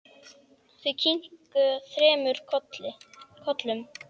Þau kinka þremur kollum.